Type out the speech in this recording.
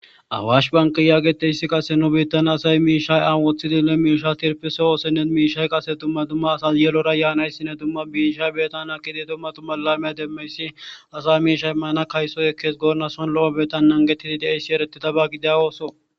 Awashi banke geetettizayssi nu biittan qassi miishsha awon woththidinne miishsha tirppisa oosonne miishshay qassi dumma dumma asas yelora yaanaysinne dumma dumma miishsha ekkiyayssinne dumma dumma laame ekkiyayssi miishsha kaysoy ekkees goonna lo7o biittan nanggetti diyayssi erttidaaba gidiya ootho.